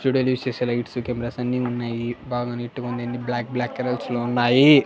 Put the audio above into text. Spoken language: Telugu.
స్టూడియో లో యూస్ చేసే లైట్సు కెమెరాసు అన్నీ ఉన్నాయి. బాగా నీట్ గా ఉంది. అన్ని బ్లాక్ బ్లాక్ కలర్స్ లో ఉన్నాయి.